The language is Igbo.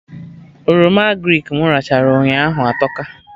Oroma agrịk mụ rachaa ụnyaahụ atọka